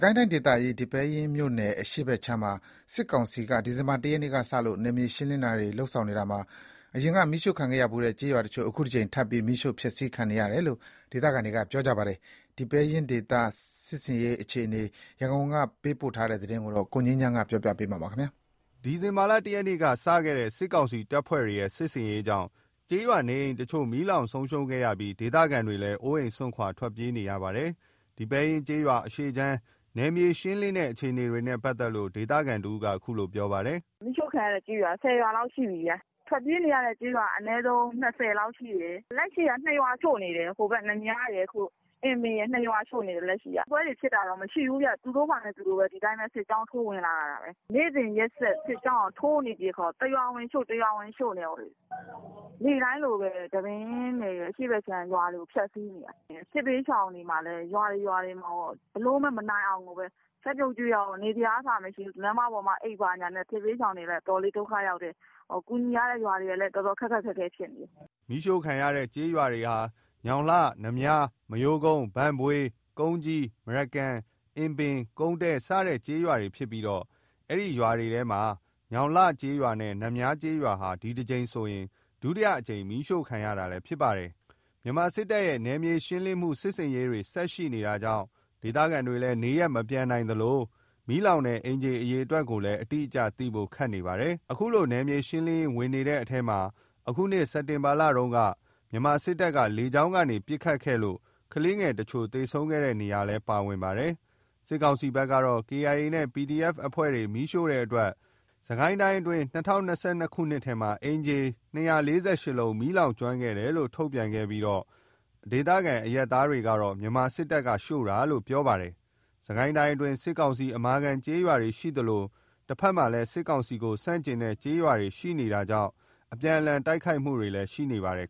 ကိုင်းတိုင်းဒေသကြီး ဒီပဲယင်းမြို့နယ် အရှေ့ခြမ်းမှာ စစ်ကောင်စီက ဒီဇင်ဘာ ၁ ရက်ကစလို့ နယ်မြေရှင်းလင်းနေတာမှာ အရင်က မီးရှို့ခံခဲ့ရဖူးတဲ့ ကျေးရွာတချို့ အခုတကြိမ်ထပ်ပြီး မီးရှို့ဖျက်ဆီးခံနေရတယ်လို့ ဒေသခံတွေက ပြောပါတယ်။ ဒီပဲယင်းဒေသ စစ်ဆင်ရေးအခြေအနေ ရန်ကုန်ကနေ စုံစမ်း မေးမြန်းထားတာကို ကိုငြိမ်းချမ်းက တင်ပြပေးထားပါတယ်။ ဒီဇင်ဘာ ၁ ရက်နေ့ကစတဲ့ စစ်ကောင်စီတပ်ဖွဲ့တွေရဲ့ စစ်ဆင်ရေးကြောင့် ကျေးရွာနေအိမ်တချို့ မီးလောင်ဆုံးရှုံးခဲ့ရပြီး ဒေသခံတွေလည်း အိုးအိမ်စွန့်ခွာ တိမ်းရှောင်နေကြရပါတယ်။ ဒီပဲယင်းကျေးရွာ အရှေ့ခြမ်း နယ်မြေရှင်းလင်းတဲ့ အခြေအနေတွေနဲ့ပတ်သက်လို့ ဒေသခံတဦးက အခုလို ပြောပါတယ်။ “မီးရှို့ခံရတဲ့ကျေးရွာက ၁၀ ရွာလောက်ရှိနေပြီ။ ထွက်ပြေးနေရတဲ့ ကျေးရွာက အနည်းဆုံး ၂၀ လောက် ရှိတယ်။ လက်ရှိက ၂ ရွာရှို့နေတယ်။ နများရယ်၊ အင်ပင်ရယ် ၂ ရွာရှို့နေတယ်။ တိုက်ပွဲတွေဖြစ်တာတော့ မရှိဘူး။ သူတို့ဘာသာသူတို့ ဒီအတိုင်းပဲ စစ်ကြောင်းထိုးဝင်လာတာပဲ။ နေ့စဉ်ရက်ဆက် စစ်ကြောင်းက ထိုးနေတော့ တရွာဝင်ရှို့ တရွာဝင်ရှို့နဲ့ နေ့တိုင်းလိုလိုပဲ။ ဒီပဲယင်းနယ် အရှေ့ခြမ်းရွာတွေကို ဖျက်ဆီးနေတာ။ စစ်ဘေးရှောင်တွေက ရွာတွေမှာ ဘယ်လိုမှ မနိုင်အောင်ကိုပဲ။ ချက်ပြုတ်ကျွေးတာကော နေစရာနေရာကအစ မရှိဘူး။ လမ်းမပေါ်မှာအိပ်နဲ့ စစ်ဘေးရှောင်တွေလည်း အတော်ဒုက္ခရောက်တယ်။ ကူညီရတဲ့ရွာတွေလည်း တော်တော်ခက်ခက်ခဲခဲ ဖြစ်နေတယ်။” မီးရှို့ခံရတဲ့ကျေးရွာတွေဟာ ညောင်လှ၊ နများ၊ မရိုးကုန်း ၊ ဘန့်ဘွေး ၊ ကုန်းကြီး ၊ မရကန် ၊ အင်ပင် ၊ ကုန်းတဲ စတဲ့ ကျေးရွာတွေဖြစ်ပြီး အဲ့ဒီကျေးရွာတွေထဲမှာ ညောင်လှကျေးရွာနဲ့ နများကျေးရွာဟာ ဒီတကြိမ်ဆိုရင် ဒုတိယအကြိမ် မီးရှို့ခံရတာလည်းဖြစ်ပါတယ်။ မြန်မာစစ်တပ်ရဲ့ နယ်မြေရှင်းလင်းမှု စစ်ဆင်ရေးတွေ ဆက် ရှိနေတာကြောင့်လည်း ဒေသခံတွေ နေရပ်မပြန်နိုင်သလို မီးလောင်တဲ့ အိမ်ခြေ အရေအတွက်ကိုလည်း အတိအကျ သိဖို့ခက်နေပါတယ်။ အခု နယ်မြေရှင်းလင်းရေး ဝင်နေတဲ့အထဲမှာ အခုနှစ် စက်တင်ဘာလတုန်းက မြန်မာစစ်တပ်က လေကြောင်းကနေ ပစ်ခတ်လို့ ကလေးငယ်တချို့ သေဆုံးခဲ့တဲ့ နေရာလည်း ပါဝင်ပါတယ်။ စစ်ကောင်စီဘက်ကတော့ KIA နဲ့ PDF အဖွဲ့တွေ မီးရှို့တဲ့အတွက် စစ်ကိုင်းတိုင်းအတွင်း အခုနှစ် ၂၀၂၂ ခုနှစ်ထဲမှာ အိမ်ခြေ ၂၄၈ လုံး မီးလောင်ကျွမ်းခဲ့တယ်လို့ ထုတ်ပြန်ခဲ့ပြီး ဒေသခံအရပ်သားတွေကတော့ မြန်မာစစ်တပ်က မီးရှို့တာလို့ ပြောပါတယ်။ စစ်ကိုင်းတိုင်းအတွင်း စစ်ကောင်စီ အမာခံကျေးရွာတွေ ရှိသလို တဘက်မှာ စစ်ကောင်စီကို ဆန့်ကျင်တဲ့ ကျေးရွာတွေလည်း ရှိနေတာကြောင့် အပြန်အလှန် တိုက်ခိုက်မှုတွေလည်း ရှိနေပါတယ်